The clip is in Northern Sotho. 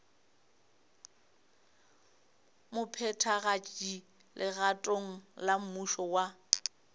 mophethagatši legatong la mmušo wa